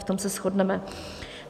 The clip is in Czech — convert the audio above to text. V tom se shodneme.